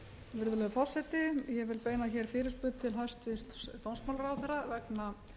virðulegur forseti ég vil beina fyrirspurn til hæstvirts dómsmálaráðherra vegna